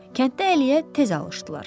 Kənddə Əliyə tez alışdılar.